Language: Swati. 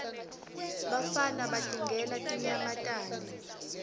bafana batingela tinyamatane